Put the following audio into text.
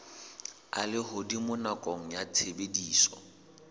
a lehodimo nakong ya tshebediso